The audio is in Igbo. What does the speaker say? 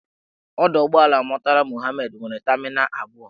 Ọdọụgbọelu Murtala Muhammed nwere tamịnal abụọ.